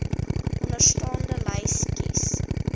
onderstaande lys kies